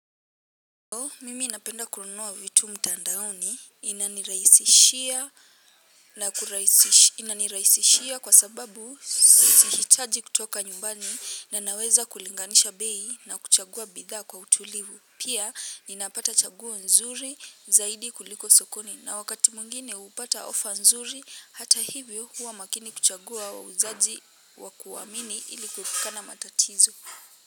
Mimi napenda kununua vitu mtandaoni inaniraisishia kwa sababu sihitaji kutoka nyumbani na naweza kulinganisha bei na kuchagua bidhaa kwa utulivu. Pia ninapata chaguo nzuri zaidi kuliko sokoni na wakati mwingine upata offer nzuri hata hivyo huwa makini kuchagua wauzaji wa kuwaamini ili kuepukana matatizo.